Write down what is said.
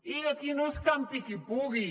i aquí no és campi qui pugui